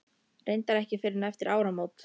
Reyndar ekki fyrr en eftir áramót.